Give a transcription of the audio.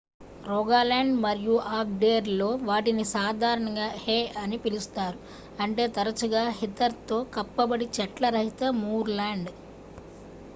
"Rogaland మరియు ఆగ్డెర్​లో వాటిని సాధారణంగా "హే" అని పిలుస్తారు అంటే తరచుగా హీథర్​తో కప్పబడి చెట్ల రహిత మూర్లాండ్.